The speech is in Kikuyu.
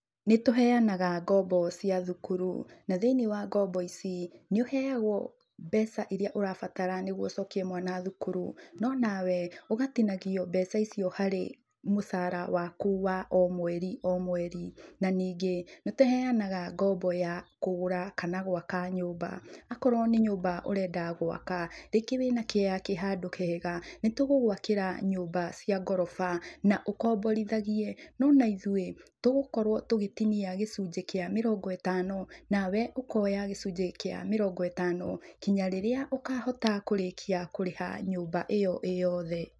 Nĩtũheanaga ngombo cia thukuru. Na thĩiniĩ wa ngombo ici, nĩũheagũo mbeca iria ũrabatara nĩguo ũcokie mwana thukuru. No nawe, ũgatinagio mbeca icio harĩ mũcara waku wa o mweri o mweri. Na ningĩ, nĩtũheanaga ngombo ya kũgũra kana gũaka nyũmba. Akorũo nĩ nyũmba ũrenda gũaka, rĩngĩ wĩna kĩea kĩ handũ hega, nĩtũgũgũakĩra nyũmba cia ngoroba, na ũkomborithagie, no naithuĩ, tũgũkorũo tũgĩtinia gĩcunjĩ kĩa mĩrongo ĩtano, nawe ũkoya gĩcunjĩ kia mĩrongo ĩtano, kinya rĩrĩa ũkahota kũrĩkia kũrĩha nyũmba ĩyo ĩyothe.